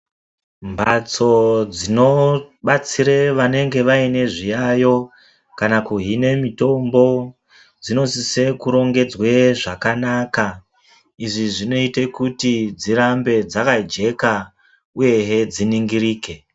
Mhatso dzinobatsire vanenge vane zviyayo kana kuhine mutombo dzinosise kurongedzwe zvakanaka. Izvi zvinoite kuti dzirambe dzakajeka uyehe dziningirike.